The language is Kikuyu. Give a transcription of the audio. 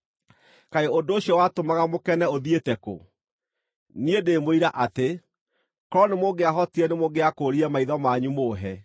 Kaĩ ũndũ ũcio watũmaga mũkene ũthiĩte kũ? Niĩ ndĩ mũira atĩ, korwo nĩmũngĩahotire, nĩmũngĩakũũrire maitho manyu mũũhe.